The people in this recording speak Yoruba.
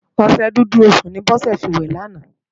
Oṣè Dúdú Osún ni Bose fi wè làná